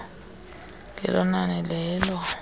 ngelo nani lelo